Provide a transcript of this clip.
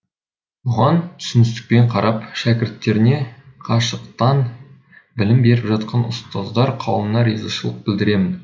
бұған түсіністікпен қарап шәкірттеріне қашықтан білім беріп жатқан ұстаздар қауымына ризашылық білдіремін